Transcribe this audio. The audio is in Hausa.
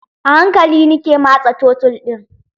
A hankali nike matsa tottle ɗin